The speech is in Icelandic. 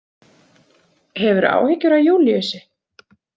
Hefurðu áhyggjur af Júlíusi?